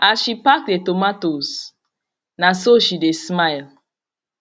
as she pack the tomatoes na so she dey smile